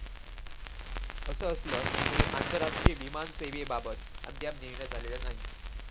असं असलं तरी आंतरराष्ट्रीय विमान सेवेबाबत अद्याप निर्णय झालेला नाही.